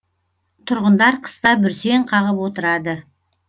тұрғындар қыста бүрсең қағып отырады